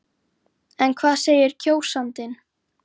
En hvað segir kjósandinn?